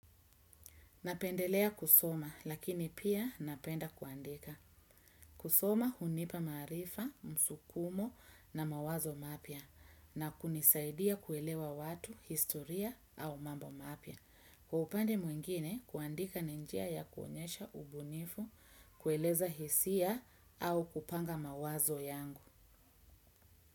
Napendelea kusoma lakini pia napenda kuandika. Kusoma hunipa maarifa, msukumo na mawazo mapya. Na kunisaidia kuelewa watu, historia au mambo mapya. Kwa upande mwingine, kuandika ni njia ya kuonyesha ubunifu, kueleza hisia au kupanga mawazo yangu.